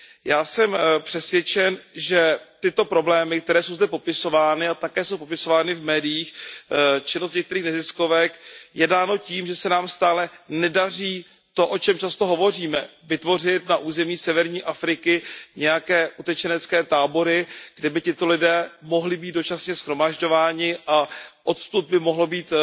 Já jsem přesvědčen, že tyto problémy, které jsou zde popisovány a také jsou popisovány v médiích, jsou dané tím, že se nám stále nedaří to, o čem často hovoříme, vytvořit na území severní Afriky nějaké utečenecké tábory, kde by tito lidé mohli být dočasně shromažďováni a odkud by mohlo být